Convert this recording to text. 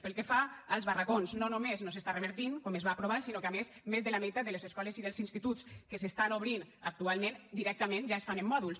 pel que fa als barracons no només no s’està revertint com es va aprovar sinó que a més més de la meitat de les escoles i dels instituts que s’estan obrint actualment directament ja es fan en mòduls